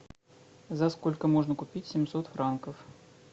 за сколько можно купить семьсот франков